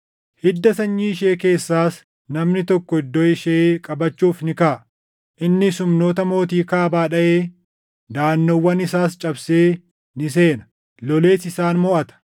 “Hidda sanyii ishee keessaas namni tokko iddoo ishee qabachuuf ni kaʼa. Innis humnoota mootii Kaabaa dhaʼee daʼannoowwan isaas cabsee ni seena; lolees isaan moʼata.